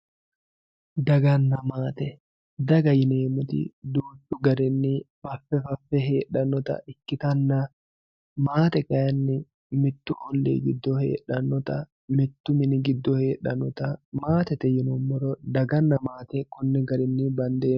Dagana maate daga yinemoti duuchu garini fafe fafe hedhanota ikitana maate kayini mittu olii gido mittu mini giddo hedhanota maatete yinumoro dagana matekoni garini bandeemo.